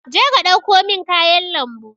je ka ɗauko min kayan lambu.